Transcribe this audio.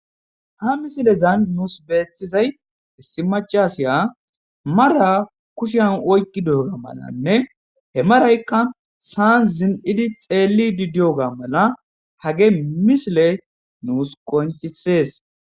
Ha misilezan nus bettizay issi macca asiya mara kushen oyqqidara malanne he marayiykka sa'an zin'idi xellide de'iyoga hafey misiley nus qonccisses.